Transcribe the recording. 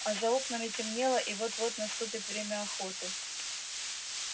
а за окнами темнело и вот-вот наступит время охоты